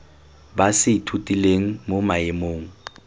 ba se ithutileng mo maemong